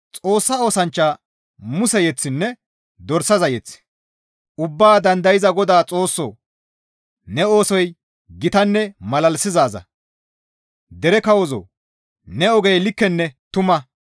Xoossa oosanchcha Muse yeththinne dorsaza mazamure, «Ubbaa Dandayza Godaa Xoossoo! Ne oosoy gitanne malalisizaaza; dere kawozoo! Ne ogey likkenne tuma.